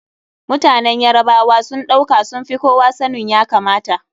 Mutanen Yarabawa sun ɗauka sun fi kowa sanin ya kamata.